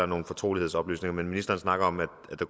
nogle fortrolighedsoplysninger men når ministeren snakker